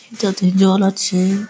যাতে জল আছে-এ --